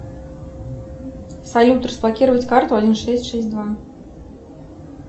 салют разблокировать карту один шесть шесть два